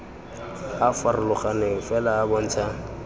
a farologaneng fela a bontsha